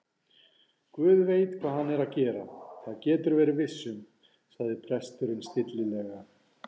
Guð veit hvað hann er að gera, það geturðu verið viss um- sagði presturinn stillilega.